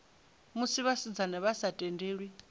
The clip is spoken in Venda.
musi vhasidzana vha sa tendelwi